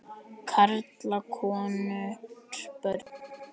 Karla, konur, börn.